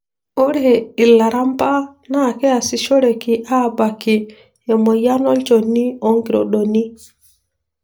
Ore ilaramba na kiasishoreki abaaki emoyian olchoni, onkirodoni.